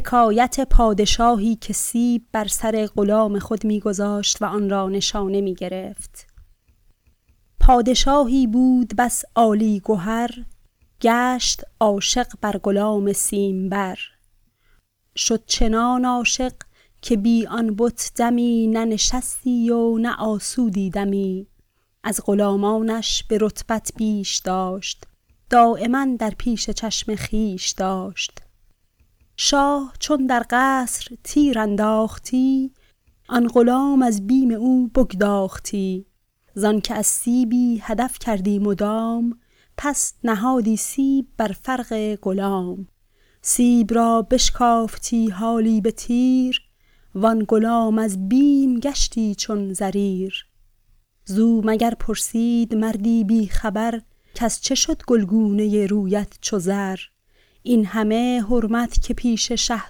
پادشاهی بود بس عالی گهر گشت عاشق بر غلام سیم بر شد چنان عاشق که بی آن بت دمی نه نشستی و نه آسودی دمی از غلامانش به رتبت بیش داشت دایما در پیش چشم خویش داشت شاه چون در قصر تیر انداختی آن غلام از بیم او بگداختی زآنک از سیبی هدف کردی مدام پس نهادی سیب بر فرق غلام سیب را بشکافتی حالی به تیر و آن غلام از بیم گشتی چون زریر زو مگر پرسید مردی بی خبر کز چه شد گلگونه رویت چو زر این همه حرمت که پیش شه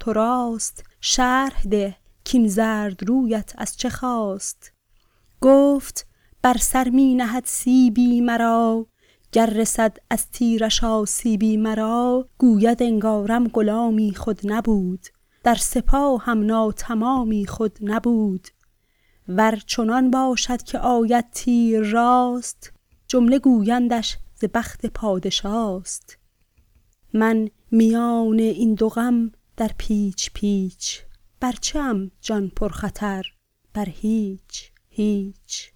تو راست شرح ده کاین زرد رویت از چه خاست گفت بر سر می نهد سیبی مرا گر رسد از تیرش آسیبی مرا گوید انگارم غلامی خود نبود در سپاهم ناتمامی خود نبود ور چنان باشد که آید تیر راست جمله گویندش ز بخت پادشاست من میان این دو غم در پیچ پیچ بر چه ام جان پر خطر بر هیچ هیچ